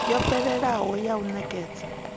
yo fhelelaho ya u nekedza